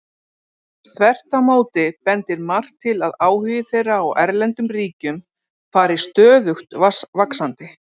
Þvert á móti bendir margt til að áhugi þeirra á erlendum ríkjum fari stöðugt vaxandi.